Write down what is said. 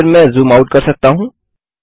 फिर मैं zoom out कर सकता हूँ